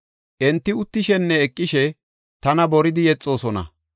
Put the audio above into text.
Enti uttishenne eqishe tana boridi yexoosona.